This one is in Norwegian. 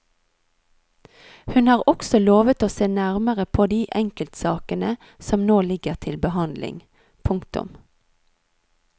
Hun har også lovet å se nærmere på de enkeltsakene som nå ligger til behandling. punktum